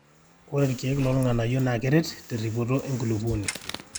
ore ilkeek loo ilg'anayio naa keret terripoto enkulupuoni